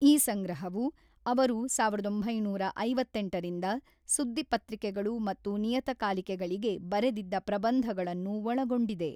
ಈ ಸಂಗ್ರಹವು, ಅವರು ಸಾವಿರದ ಒಂಬೈನೂರ ಐವತ್ತೆಂಟರಿಂದ ಸುದ್ದಿಪತ್ರಿಕೆಗಳು ಮತ್ತು ನಿಯತಕಾಲಿಕೆಗಳಿಗೆ ಬರೆದಿದ್ದ ಪ್ರಬಂಧಗಳನ್ನು ಒಳಗೊಂಡಿದೆ.